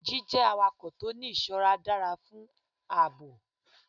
Jí jẹ́ awakọ̀ tó ń ní ìṣọ́ra dára fún ààbò.